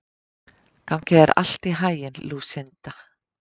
Gangi þér allt í haginn, Lúsinda.